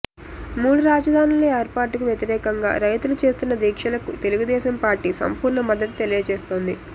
మూడు రాజధానుల ఏర్పాటుకు వ్యతిరేకంగా రైతులు చేస్తున్న దీక్షలకు తెలుగుదేశం పార్టీ సంపూర్ణ మద్దతు తెలియజేస్తోంది